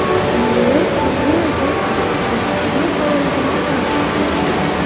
Emmanuel ham ne ajabki, professional faoliyatini Fransiyada boshlagan.